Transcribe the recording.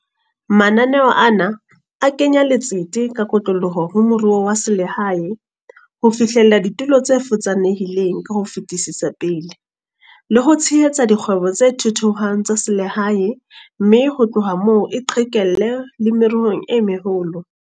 Mananeo ana a kenya letsete ka kotloloho ho meruo ya selehae, ho fihlella ditulo tse futsanehileng ka ho fetisetsa pele, le ho tshehetsa dikgwebo tse thuthuhang tsa selehae mme ho tloha moo e qhekelle le meruong e meholo.